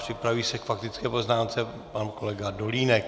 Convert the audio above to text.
Připraví se k faktické poznámce pan kolega Dolínek.